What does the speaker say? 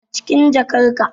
Acikin jakar ka